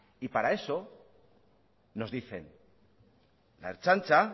y para eso nos dicen la ertzaintza